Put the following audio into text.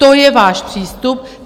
To je váš přístup.